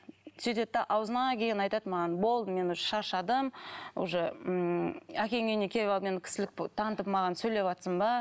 сөйдеді де аузына келгенін айтады маған болды мен уже шаршадым уже ммм әкеңнің үйіне келіп алып мен кісілік танытып маған сөйлеватсың ба